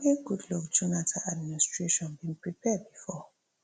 wey goodluck jonathan administration bin prepare bifor